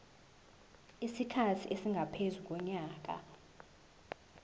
isikhathi esingaphezu konyaka